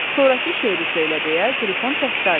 Sonrakı şeiri söylə deyə Qrifon təkrar etdi.